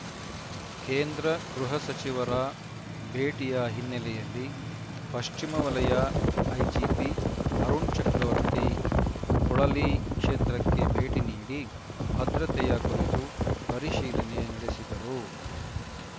ಕೇಂದ್ರ ಗೃಹ ಸಚಿವರ ಭೇಟಿಯ ಹಿನ್ನೆಲೆಯಲ್ಲಿ ಪಶ್ಚಿಮ ವಲಯ ಐಜಿಪಿ ಅರುಣ್ ಚಕ್ರವರ್ತಿ ಪೊಳಲಿ ಕ್ಷೇತ್ರಕ್ಕೆ ಭೇಟಿ ನೀಡಿ ಭದ್ರತೆಯ ಕುರಿತು ಪರಿಶೀಲನೆ ನಡೆಸಿದರು